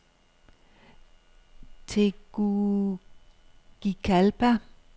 Tegucigalpa